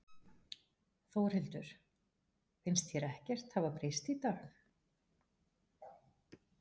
Þórhildur: Finnst þér ekkert hafa breyst í dag?